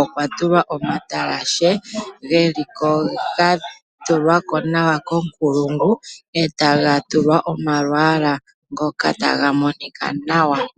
okwatulwa omatalashe geliko gatulwako nawa konkulungu ,eta gatulwa omalwaala ngoka ta ga monika nawa.